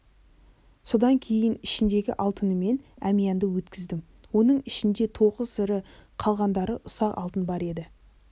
содан кейін ішіндегі алтынымен әмиәнді өткіздім оның ішінде тоғыз ірі қалғандары ұсақ алтын бар еді